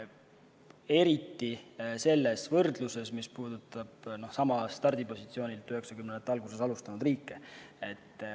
Eriti selles võrdluses, mis puudutab samalt stardipositsioonilt 1990-ndate alguses alustanud riike.